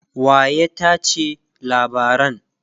waya tace labaran?